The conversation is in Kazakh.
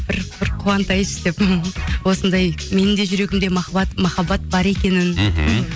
бір қуантайыншы деп осындай менің де жүрегімде махаббат бар екенін мхм